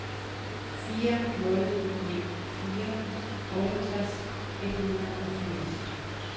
fire nul ni fire otteogtres et hundrede og firs